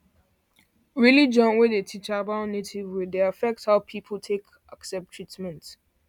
religion wey dey teach about native way dey affect how people take accept treatment